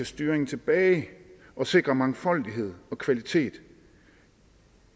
styringen tilbage og sikre mangfoldighed og kvalitet